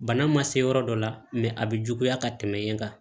Bana ma se yɔrɔ dɔ la a bɛ juguya ka tɛmɛ yen kan